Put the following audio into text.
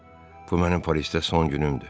Bu mənim Parisdə son günümdür.